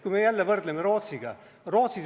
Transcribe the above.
Jälle võrdleme Rootsiga.